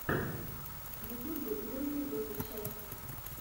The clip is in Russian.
в ютьюбе загрузи дозу счастья